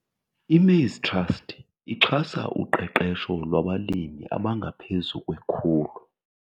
I-Maize Trust ixhasa uqeqesho lwabalimi abangaphezu kwe-100